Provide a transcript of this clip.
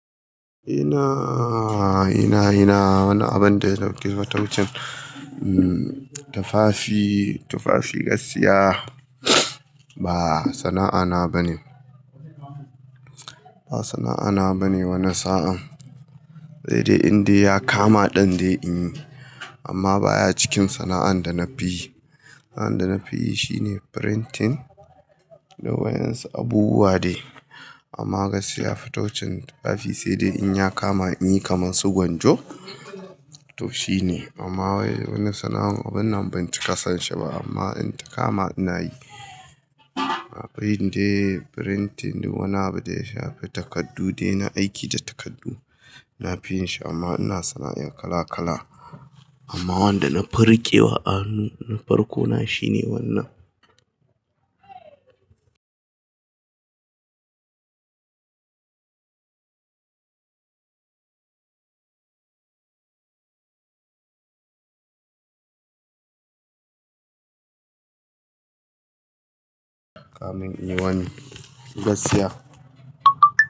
Ina, ina, ina, wani abin da ya dauki fataucin, um, tufafi, tufafi, gaskiya ba sana'ana ba ne. Ba sana'ana ba ne wannan sa'a, sai dai in dai ya kama ɗan dai in yi amma ba ya cikin sana'an da na fi yi. Sana'an da na fi yi shi ne printing, dai wayan su abubuwa ne amma gaskiya fataucin tufafi sai dai in ya kama in yi kamar su gwanjo to shi ne amma wai wannan sana'an an ban cika son shi ba amma in ta kama ina yi. Irin dai printing dai wannan abin da ya shafi takardu dai na aiki da takardu. Na fi yin shi amma ina sana'o'in kala kala amma wanda na farkewa a hannu, na farko na shi ne wannan. In wani, gaskiya.